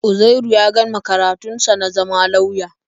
Uzairu ya gama karatun sa na zama lauya.